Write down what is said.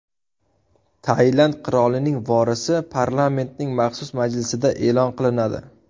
Tailand qirolining vorisi parlamentning maxsus majlisida e’lon qilinadi.